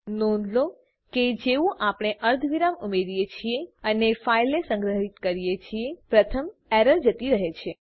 નોંધ લો કે જેવું આપણે અર્ધવિરામ ઉમેરીએ છીએ અને ફાઈલને સંગ્રહીત કરીએ છીએ પ્રથમ એરર જતી રહે છે